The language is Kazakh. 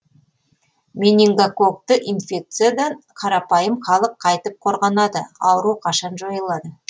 менингококкты инфекциядан қарапайым халық қайтіп қорғанады ауру қашан жойылады